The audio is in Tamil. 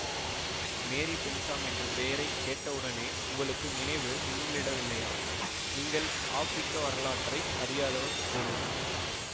மேரி பென்சாம் என்ற பெயரை கேட்டவுடனே உங்களுக்கு நினைவு மின்னலிடவில்லையா நீங்கள் ஆப்ரிக்க வரலாற்றை அறியாதவர் போலும்